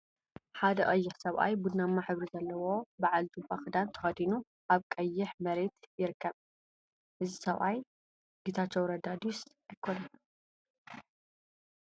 ሓደ ቀይሕ ሰብአይ ቡናማ ሕብሪ ዘለዎ በዓል ጁባ ክዳን ተከዲኑ አብ ቀይሕ መሬት ይርከብ፡፡ እዚ ሰብአይ ጌታቸው ረዳ ድዩስ አይኮነን?